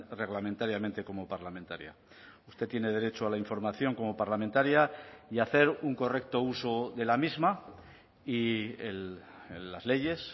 reglamentariamente como parlamentaria usted tiene derecho a la información como parlamentaria y a hacer un correcto uso de la misma y las leyes